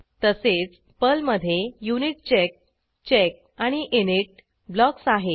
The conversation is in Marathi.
तसेच पर्लमधे युनिटचेक चेक आणि इनिट ब्लॉक्स आहेत